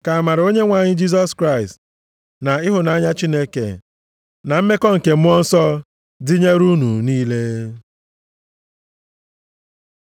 Ka amara Onyenwe anyị Jisọs Kraịst na ịhụnanya Chineke, na mmekọ nke Mmụọ Nsọ dịnyere unu niile.